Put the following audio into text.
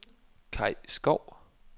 Kai Skov